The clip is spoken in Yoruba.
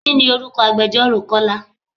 Kini orúkọ agbẹjoro Kọ́lá?